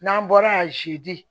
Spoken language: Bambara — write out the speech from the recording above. N'an bɔra a zi